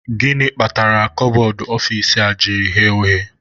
Gịnị kpatara kabọọdụ ọfici a ji ghere oghe?